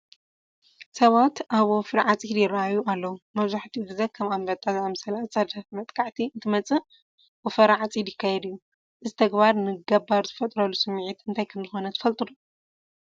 ሰባት ኣብ ወፍሪ ዓፂድ ይርአዩ ኣለዉ፡፡ መብዛሕትኡ ግዜ ከም ኣንበጣ ዝኣምሰለ ኣፃዳፊ መጥቃዕቲ እንትመፅእ ወፈራ ዓፂድ ይካየድ እዩ፡፡ እዚ ተግባር ንገባር ዝፈጥረሉ ስምዒት እንታይ ከምዝኾነ ትፈልጡ ዶ?